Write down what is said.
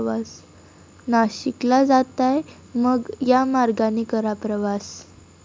नाशिकला जाताय?, मग या मार्गाने करा प्रवास!